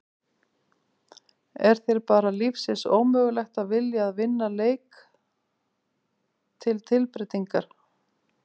Er þér bara lífsins ómögulegt að vilja að vinna leik til tilbreytingar!?